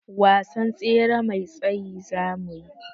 Wasan tsere mai tsayi zamuyi.